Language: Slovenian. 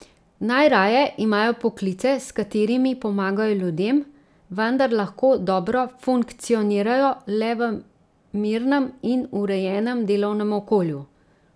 Najraje imajo poklice, s katerimi pomagajo ljudem, vendar lahko dobro funkcionirajo le v mirnem in urejenem delovnem okolju.